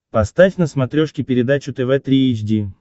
поставь на смотрешке передачу тв три эйч ди